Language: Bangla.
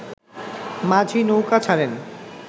মাঝি নৌকা ছাড়েন